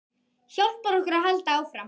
Hjálpar okkur að halda áfram.